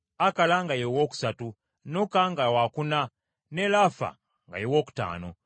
Noka nga wakuna, ne Lafa nga ye wookutaano.